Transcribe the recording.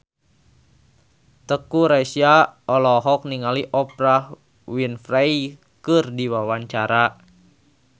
Teuku Rassya olohok ningali Oprah Winfrey keur diwawancara